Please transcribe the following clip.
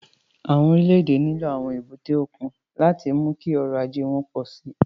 Àwọn orílẹ̀-èdè nílò àwọn èbúté òkun láti mú kí ọrọ̀ ajé wọn pọ̀ sí i.